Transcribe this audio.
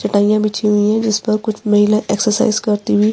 चटाईया बिछी हुई है जिस पे कुछ महिला एक्सरसाइज करती हुई--